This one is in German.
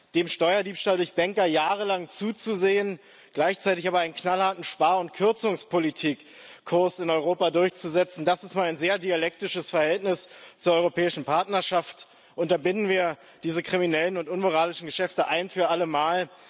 Dem Steuerdiebstahl durch Bänker jahrelang zuzusehen, gleichzeitig aber einen knallharten Spar und Kürzungspolitikkurs in Europa durchzusetzen, das ist mal ein sehr dialektisches Verhältnis zur europäischen Partnerschaft. Unterbinden wir diese kriminellen und unmoralischen Geschäfte ein für alle Mal!